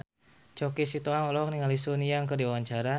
Choky Sitohang olohok ningali Sun Yang keur diwawancara